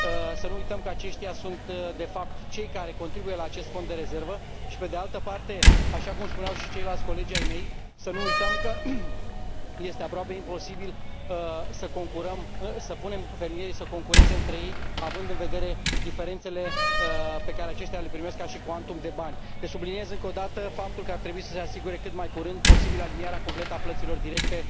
Să nu uităm că aceștia sunt de fapt cei care contribuie la acest fond de rezervă și, pe de altă parte, așa cum spuneau și ceilalți colegi ai mei, să nu uităm că este aproape imposibil să punem fermieri să concureze între ei având în vedere diferențele pe care aceștia le primesc ca și cuantum de bani. Deci subliniez încă o dată faptul că ar trebui să se asigure cât mai curând posibil alinierea completă a plăților directe